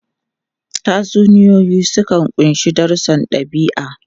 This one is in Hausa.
Tatsuniyoyi sukan ƙunshi darussan ɗabi'a.